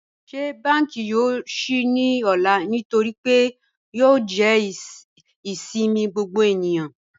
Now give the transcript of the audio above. Ní bankí yòó ṣí ní òlà nítorí pé yòó jẹ́ ìṣẹ̀mi gbogbo ènìyàn?